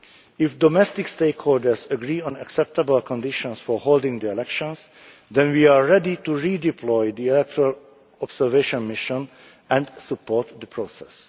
If domestic stakeholders agree on acceptable conditions for holding the elections, then we are ready to redeploy the actual observation mission and support the process.